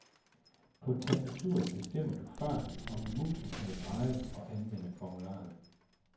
På tastaturet bestemmer du farten, og med musen kan du dreje og anvende formularerne.